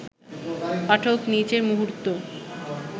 পাঠক নিজের মুহূর্ত